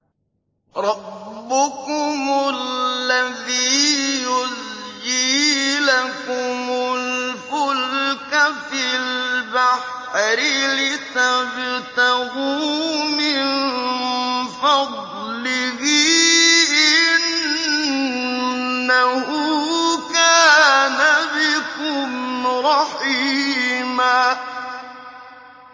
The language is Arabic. رَّبُّكُمُ الَّذِي يُزْجِي لَكُمُ الْفُلْكَ فِي الْبَحْرِ لِتَبْتَغُوا مِن فَضْلِهِ ۚ إِنَّهُ كَانَ بِكُمْ رَحِيمًا